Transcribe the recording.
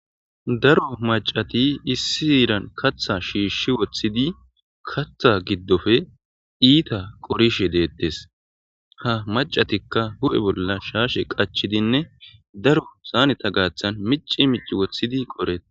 Daro macati issi heeran katha shiishshi woththidi katha giddoppe iita qorishe deettes. Ha macatikka hu7e bolla shaashe qachidinne daro saaneta gaaththan mici mici woththidi qoreetees.